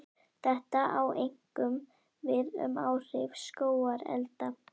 Þetta á einkum við um áhrif skógarelda.